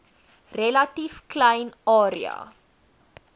relatief klein area